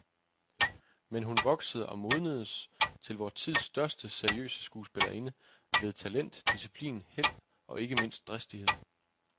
Men hun voksede og modnedes til vor tids største seriøse skuespillerinde ved talent, disciplin, held, og ikke mindst dristighed.